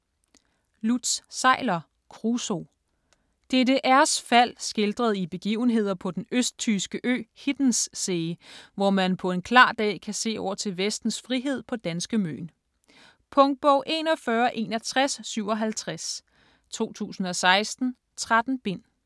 Seiler, Lutz: Kruso DDR's fald skildret i begivenheder på den østtyske ø Hiddenssee, hvor man på en klar dag kan se over til vestens frihed på danske Møn. Punktbog 416157 2016. 13 bind.